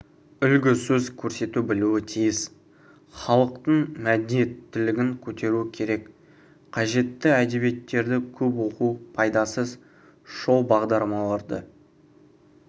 үлгі сөз көрсете білуі тиіс халықтың мәдениеттілігін көтеру керек қажетті әдебиеттерді көп оқу пайдасыз шоу бағдарламаларды